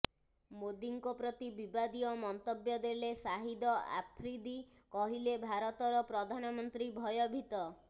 ମୋଦୀଙ୍କ ପ୍ରତି ବିବାଦୀୟ ମନ୍ତବ୍ୟ ଦେଲେ ସାହିଦ ଆଫ୍ରିଦି କହିଲେ ଭାରତର ପ୍ରଧାନମନ୍ତ୍ରୀ ଭୟଭୀତ